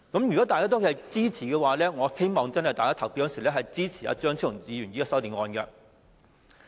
如果大家均支持的話，我希望大家投票的時候真的支持張超雄議員的修正案。